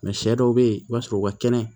sɛ dɔw be yen i b'a sɔrɔ u ka kɛnɛ